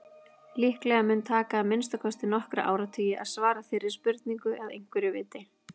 Líklega mun taka að minnsta kosti nokkra áratugi að svara þeirri spurningu að einhverju viti.